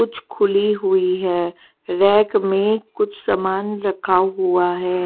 कुछ खुली हुई है रैक में कुछ सामान रखा हुआ है।